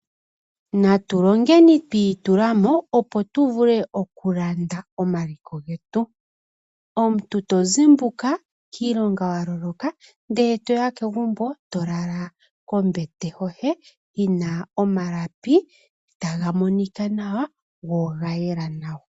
Natu longeni tu itula mo, opo tu vule okulanda omaliko getu. Omuntu to zimbuka kiilonga wa loloka ndele to ya kegumbo, e to lala kombete yoye yi na omalapi taga monika nawa go oga yela nawa.